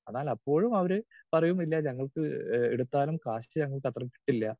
Speaker 2 അതല്ല എപ്പോഴും അവര് പറയും ഇല്ല ഞങ്ങൾക്ക് എടുത്താലും കാശ് ഞങ്ങൾക്കത്ര കിട്ടില്ല.